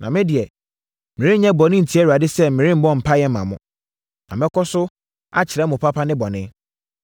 Na me deɛ, merenyɛ bɔne ntia Awurade sɛ meremmɔ mpaeɛ mma mo. Na mɛkɔ so akyerɛ mo papa ne bɔne.